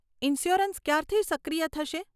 Insurance ક્યારથી સક્રિય થશે?